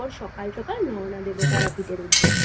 সকালে সকালে রওনা দেব তারাপীঠের উদ্দেশ্যে।